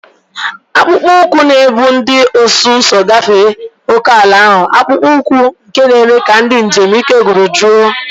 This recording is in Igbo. Akpụkpọ ụkwụ na-ebu ndị ọsụ ụzọ gafee ókèala ahụ, akpụkpọ ụkwụ na-eme ka ndị njem ike gwụrụ jụọ.